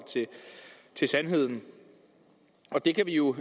til sandheden og det kan vi jo